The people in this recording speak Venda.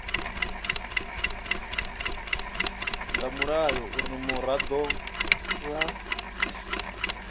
nga mulayo uri muraḓo a